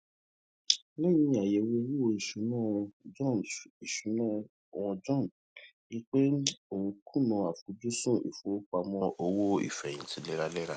léyìn àyèwò owó ìṣúnà wọn john ìṣúnà wọn john rí i pé òun n kùnà àfojúsùn ìfowópamọ owó ìfẹyìntì léraléra